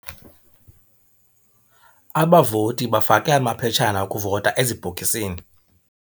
Abavoti bafake amaphetshana okuvota ezibhokisini.